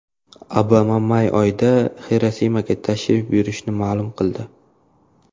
Obama may oyida Xirosimaga tashrif buyurishi ma’lum bo‘ldi.